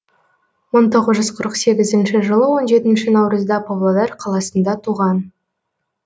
мың тоғыз жүз қырық сегізінші жылы он жетінші наурызда павлодар қаласында туған